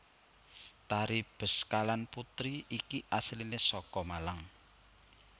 Tari Beskalan Putri iki asliné saka Malang